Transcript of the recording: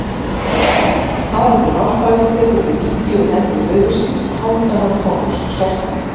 Haraldur hárfagri tekur við ríki úr hendi föður síns, Hálfdanar konungs svarta.